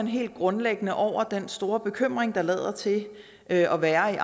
helt grundlæggende over den store bekymring der lader til at være i